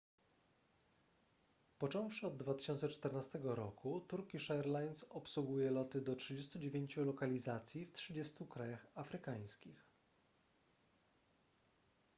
począwszy od 2014 roku turkish airlines obsługuje loty do 39 lokalizacji w 30 krajach afrykańskich